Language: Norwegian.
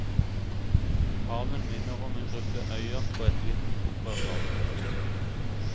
Haven minner om en gruppe øyer på et litt opprørt hav.